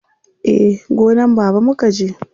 Eh, gonan baba mukaje.